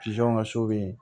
ŋa so be yen